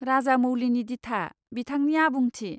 राजामौलीनि दिथा, बिथांनि आबुंथि।